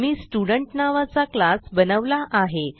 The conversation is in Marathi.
मी स्टुडेंट नावाचा क्लास बनवला आहे